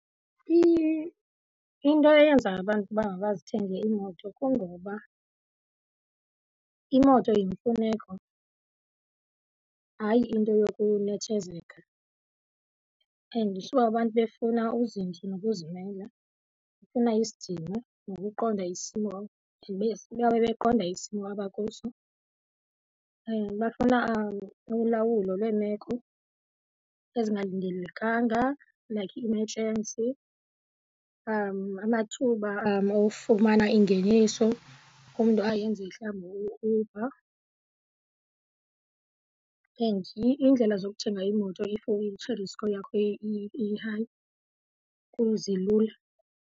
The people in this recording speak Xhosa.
Into eyenza abantu uba mabazithenge iimoto kungoba imoto yimfuneko hayi into yokunethezeka. And sube abantu befuna uzinzo nokuzimela, befuna isidima nokuqonda isimo babe beqonda isimo abakuso. Bafuna ulawulo lweemeko ezingalindelekanga like i-emergency, amathuba ofumana ingeniso, umntu ayenze mhlawumbi u-Uber. And iindlela zokuthenga iimoto if i-credit score yakho i-high zilula.